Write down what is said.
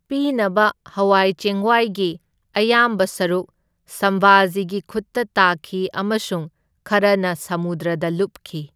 ꯄꯤꯅꯕ ꯍꯋꯥꯏ ꯆꯦꯡꯋꯥꯏꯒꯤ ꯑꯌꯥꯝꯕ ꯁꯔꯨꯛ ꯁꯝꯚꯥꯖꯤꯒꯤ ꯈꯨꯠꯇ ꯇꯥꯈꯤ ꯑꯃꯁꯨꯡ ꯈꯔꯅ ꯁꯃꯨꯗ꯭ꯔꯗ ꯂꯨꯞꯈꯤ꯫